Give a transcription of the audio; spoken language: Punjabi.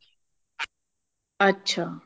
ਅੱਛਾ